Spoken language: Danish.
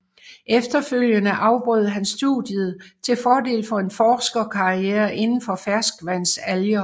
Efterfølgende afbrød han studiet til fordel for en forskerkarriere indenfor ferskvandsalger